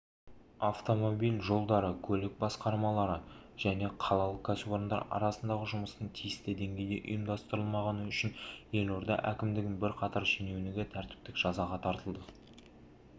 автомобиль жолдары көлік басқармалары және қалалық кәсіпорындар арасындағы жұмыстың тиісті деңгейде ұйымдастырылмағаны үшін елорда әкімдігінің бірқатар шенеунігі тәртіптік жазаға тартылды